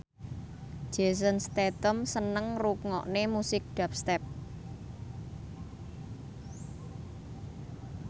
Jason Statham seneng ngrungokne musik dubstep